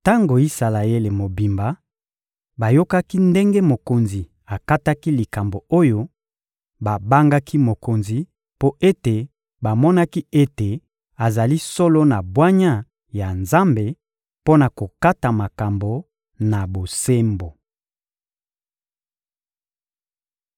Tango Isalaele mobimba bayokaki ndenge mokonzi akataki likambo oyo, babangaki mokonzi mpo ete bamonaki ete azali solo na bwanya ya Nzambe mpo na kokata makambo na bosembo.